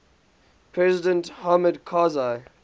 president hamid karzai